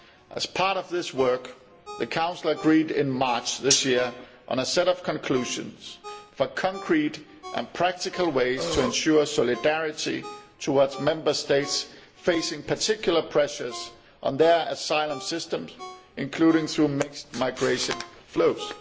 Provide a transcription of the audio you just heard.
As part of this work the Council agreed in March this year on a set of conclusions for concrete and practical ways to ensure solidarity towards Member States facing particular pressures on their asylum systems, including through mixed migration flows.